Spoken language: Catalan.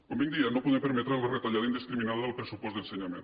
com diem no podem permetre la retallada indiscriminada del pressupost d’ensenyament